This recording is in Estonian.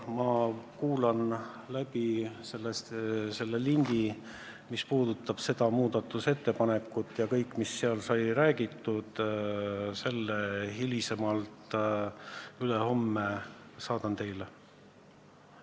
Ma kuulan läbi selle salvestise, millel on selle muudatusettepaneku arutelu, ja kõik, mis seal sai räägitud, selle ma hiljemalt ülehomme saadan teile.